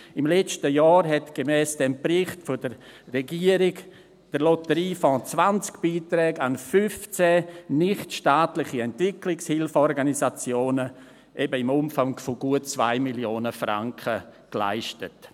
Im letzten Jahr hat gemäss diesem Bericht der Regierung der Lotteriefonds 20 Beiträge an 15 nichtstaatliche Entwicklungshilfeorganisationen, eben im Umfang von gut 2 Mio. Franken, geleistet.